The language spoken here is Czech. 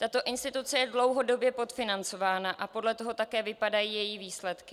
Tato instituce je dlouhodobě podfinancována a podle toho také vypadají její výsledky.